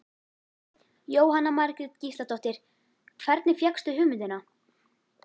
Jóhanna Margrét Gísladóttir: Hvernig fékkstu hugmyndina?